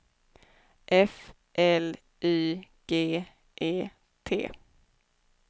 F L Y G E T